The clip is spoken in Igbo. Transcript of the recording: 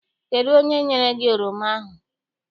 Kedụ onye nyere gị oroma ahụ?